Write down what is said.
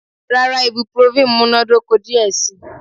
Rara, ibuprofen munadoko diẹ sii